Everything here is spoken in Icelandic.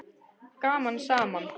Gaman saman!